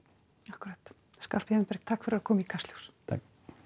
akkúrat Skarphéðinn Berg takk fyrir að koma í Kastljós takk